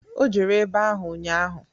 O jere ebe ahụ ụnnya.